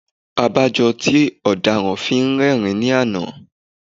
Abájọ tí ó dáràn fi rẹ́rìn-ín lánàá.